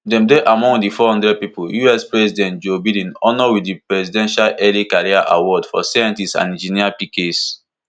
dem dey among di four hundred pipo us president joe biden honour wit di presidential early career award for scientists and engineers pecase